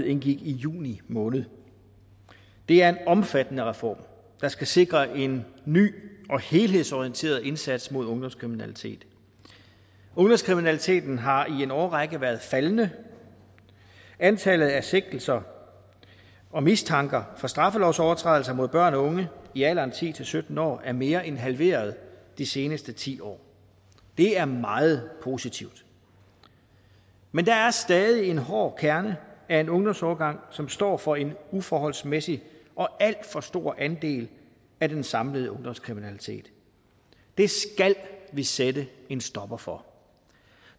indgik i juni måned det er en omfattende reform der skal sikre en ny og helhedsorienteret indsats mod ungdomskriminalitet ungdomskriminaliteten har i en årrække været faldende antallet af sigtelser og mistanker for straffelovsovertrædelser mod børn og unge i alderen ti til sytten år er mere end halveret de seneste ti år det er meget positivt men der er stadig en hård kerne af en ungdomsårgang som står for en uforholdsmæssigt og alt for stor andel af den samlede ungdomskriminalitet det skal vi sætte en stopper for